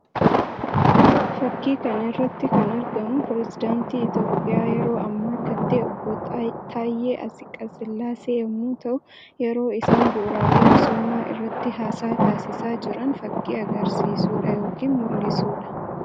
Fakkii kana irratti kan argamu pirezidaanttii Itoophiyaa yeroo ammaa kan ta'e obbo Taayyee Atsiqasillaasee yammuu ta'an; yeroo isaan bu'uuraalee misoomaa irratti haasaa taasisa jiran fakkii agarsiisuu dha yookiin mul'isuu dha.